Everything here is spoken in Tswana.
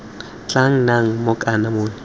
tla nnang mong kana monni